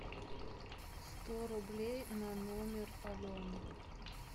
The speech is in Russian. сто рублей на номер алены